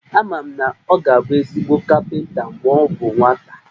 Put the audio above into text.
Ama m na ọ ga-abụ ezigbo kapịnta mgbe ọ bụ nwata